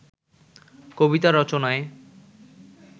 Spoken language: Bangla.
কবিতা রচনায়